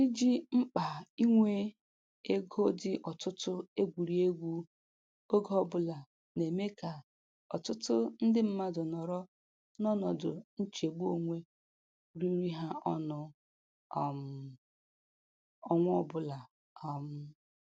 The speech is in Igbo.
Iji mkpa inwe ego dị ọtụtụ egwurị egwu oge ọbụla na-eme ka ọtụtụ ndị mmadụ nọrọ n'ọnọdụ nchegbu onwe riri ha ọnụ um ọnwa ọbụla. um